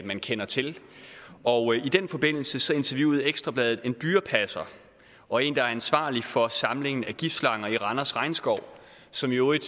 man kender til og i den forbindelse interviewede ekstra bladet en dyrepasser og en der er ansvarlig for samlingen af giftslanger i randers regnskov som i øvrigt